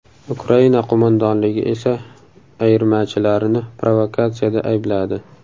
Ukraina qo‘mondonligi esa ayirmachilarini provokatsiyada aybladi.